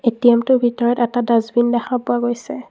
ATM টোৰ ভিতৰত এটা দাষ্টবিন দেখা পোৱা গৈছে।